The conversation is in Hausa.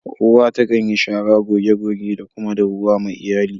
Uwa ta kan yi shara, goge goge da kuma dahuwa ma Iyalli.